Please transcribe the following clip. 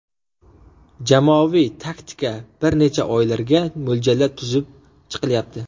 Jamoaviy taktika bir necha oylarga mo‘ljallab tuzib chiqilyapti.